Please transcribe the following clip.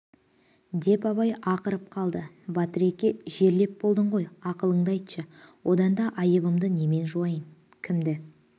деп абай ақырып қалды батыреке жерлеп болдың ғой ақылынды айтшы одан да айыбымды немен жуайын кімді